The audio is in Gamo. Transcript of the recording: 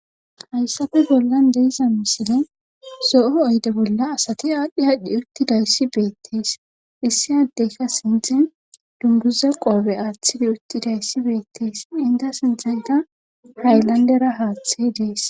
Haysape bollan de7iza misilen zo7o oyde bolla asati aadhi aadhi uttidayssi beetes issi ade qa sinthen dunguza qobe aathidi uthidayssi beettes enta sinthenka haylandera haathey dees.